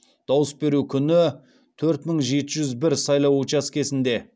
дауыс беру күні төрт мың жеті жүз бір сайлау учаскесінде